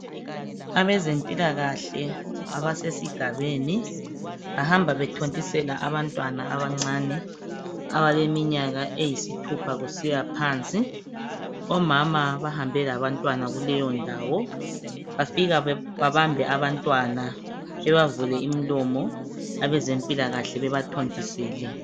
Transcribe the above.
Abezempilakahle abesigabeni bahamba bethontisela abantwana abancane abaleminyaka eyisithupha kusiya phansi. Omama bahambe labantwana kuleyo ndawo, bafika babambe abantwana bebavule imlomo, abezempilakahle bebathontisele.